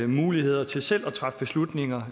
muligheder til selv at træffe beslutninger